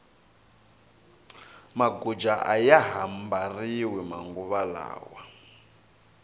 maguja aya ha mbariwi manguva lawa